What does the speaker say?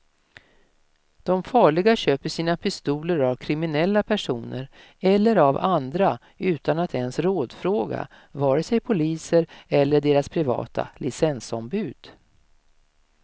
De farliga köper sina pistoler av kriminella personer eller av andra utan att ens rådfråga vare sig poliser eller deras privata licensombud.